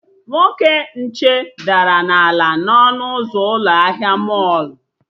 Nwoke nche dara na-ala n'ọnụ ụzọ ụlọ ahịa mọlụ